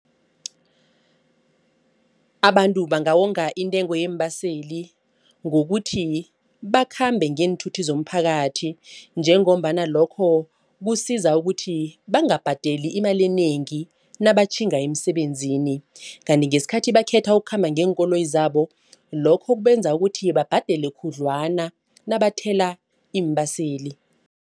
Abantu bangawonga intengo yeembaseli ngokuthi bakhambe ngeenthuthi zomphakathi. Njengombana lokho kusiza ukuthi bangabhadeli imali enengi nabatjhinga emisebenzini. Kanti ngesikhathi bakhetha ukukhamba ngeenkoloyi zabo lokho kubenza ukuthi babhadele khudlwana nabathela iimbaseli.